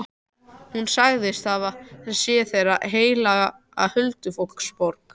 Hún segist hafa séð þar heila huldufólksborg.